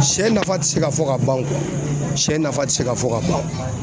Sɛ nafa ti se ka fɔ ka ban sɛ nafa ti se ka fɔ ka ban